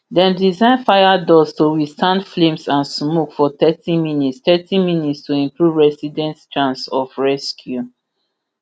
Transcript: dem design fire doors to withstand flames and smoke for thirty minutes thirty minutes to improve residents chance of rescue